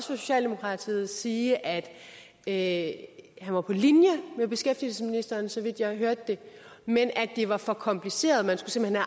socialdemokratiet sige at at han var på linje med beskæftigelsesministeren så vidt jeg hørte det men at det var for kompliceret og